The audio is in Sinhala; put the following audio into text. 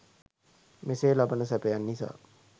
මෙසේ ලබන සැපයන් නිසා